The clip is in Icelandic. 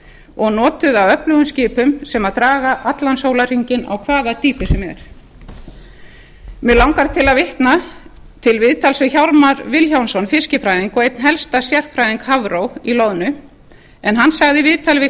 og notuðu af öflugum skipum sem draga allan sólarhringinn á hvaða dýpi sem er mig langar til að vitna til viðtals við hjálmar vilhjálmsson fiskifræðing og einn helsta sérfræðing hafró í loðnu en hann sagði í viðtali við